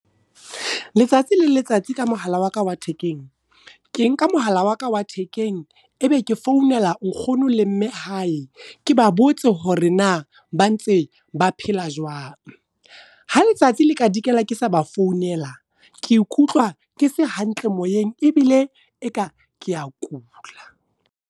Letsatsi le letsatsi ka mohala wa ka wa thekeng. Ke nka mohala wa ka wa thekeng, e be ke founela nkgono le mme hae. Ke ba botse hore na ba ntse ba phela jwang. Ha letsatsi le ka dikela ke sa ba founela, ke ikutlwa ke se hantle moyeng ebile e ka keya kula.